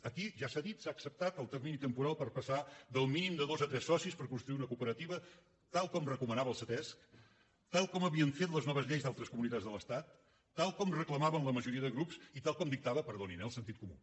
aquí ja s’ha dit s’ha acceptat el termini temporal per passar del mínim de dos a tres socis per constituir una cooperativa tal com recomanava el ctesc tal com havien fet les noves lleis d’altres comunitats de l’estat tal com reclamaven la majoria de grups i tal com dictava perdonin eh el sentit comú